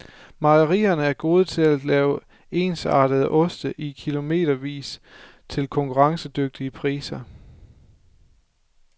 Mejerierne er gode til at lave ensartede oste i kilometervis til konkurrencedygtige priser.